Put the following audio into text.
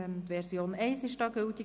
Die Version 1 ist hier gültig.